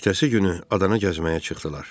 Ertəsi günü adana gəzməyə çıxdılar.